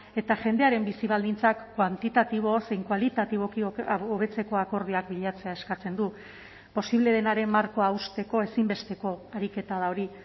eta jendearen bizi baldintzak kuantitatibo zein kualitatiboki hobetzeko akordioak bilatzea eskatzen du posible denaren markoa hausteko ezinbesteko ariketa da hori